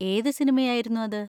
ഏത് സിനിമയായിരുന്നു അത്?